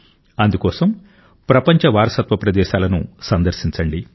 అందుకోసం ప్రపంచ వారసత్వ ప్రదేశాలను సందర్శించండి